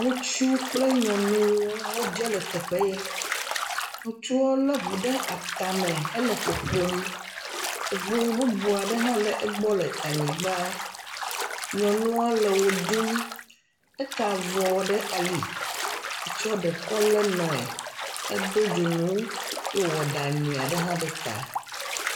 Ŋutsu kple nyɔnu wodze le teƒe ye. Ŋutsu a le ŋu ɖe ata me hele ƒoƒom. Ŋu bubub aɖe hã le anyigba. Nyɔnua le wɔɖum, eta avɔ ɖe ali. Etsɔ ɖe kɔ le nɔe. edo dzonu eye wowɔ nyuie aɖe ɖe ta.